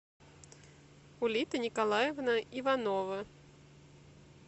улита николаевна иванова